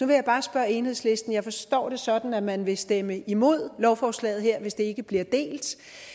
vil bare spørge enhedslisten jeg forstår det sådan at man vil stemme imod lovforslaget her hvis det ikke bliver delt